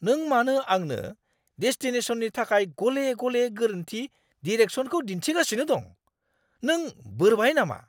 नों मानो आंनो डेस्टिनेशननि थाखाय गले-गले गोरोन्थि डिरेक्सनखौ दिन्थिगासिनो दं। नों बोरबाय नामा!